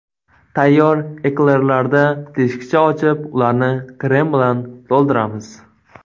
Tayyor eklerlarda teshikcha ochib, ularni krem bilan to‘ldiramiz.